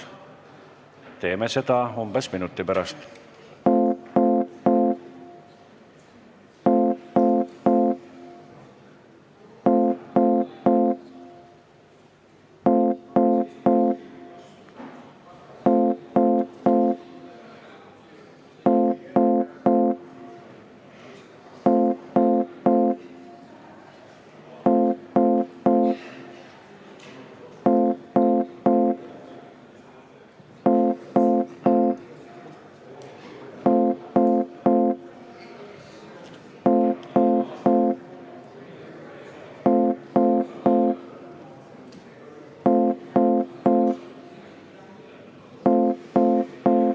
Teeme seda umbes minuti pärast.